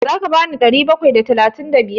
Za ka bani ɗari bakwai da talatin da biyar?